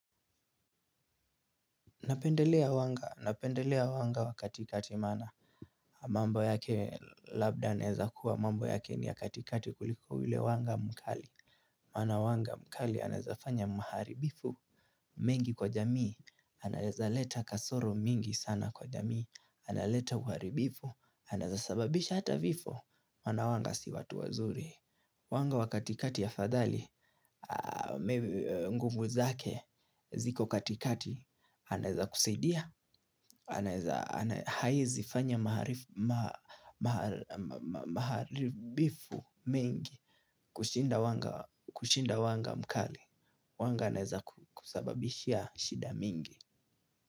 Napendelea wanga, napendelea wanga wa katikati maana, mambo yake labda anaeza kuwa mambo yake ni ya katikati kuliko ule wanga mkali. Wana wanga mkali anaezafanya mharibifu, mengi kwa jamii, anaeza leta kasoro mingi sana kwa jamii, analeta kwa uharibifu, anaeza sababisha hata vifo, wana wanga si watu wazuri. Wanga wa katikati afadhali, nguvu zake, ziko katikati, anaeza kusaidia, anaeza haezifanya maharibifu mingi, kushinda wanga mkali, wanga aneaza kusababishia shida mingi.